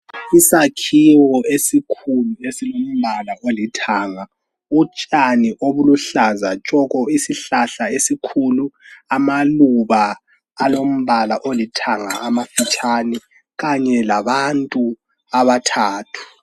Isakhiwo esikhulu esilombala olithanga, utshani obuluhlaza tshoko, isihlahla esikhulu. Amaluba alombala olithanga amafitshane kanye labantu abathathu.